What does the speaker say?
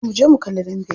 Zo muje mu kalli dambe.